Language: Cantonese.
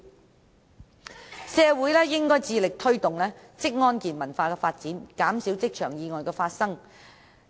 總結而言，社會應致力推動職安健文化的發展，減少職場意外的發生。